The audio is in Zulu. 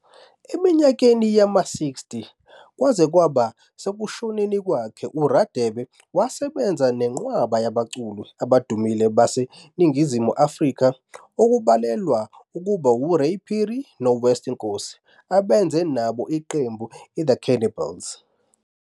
Eminyakeni yama-60 kwaze kwaba sekushoneni kwakhe uRadebe wasebenza nenqwaba yabaculi abadumile baseNingizimu Afrika okubalwa kubo uRay Phiri noWest Nkosi abenza nabo iqembu iThe Cannibals.